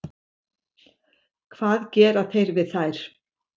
Hvað gera þeir við þær?